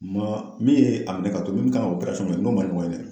min ye a minɛ ka don, min kan ka n'o man ɲɔgɔn ye dɛ